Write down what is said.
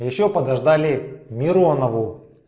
ещё подождали миронову